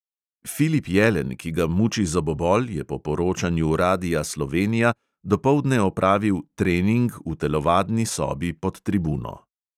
Filip jelen, ki ga muči zobobol, je po poročanju radia slovenija dopoldne opravil "trening" v telovadni sobi pod tribuno.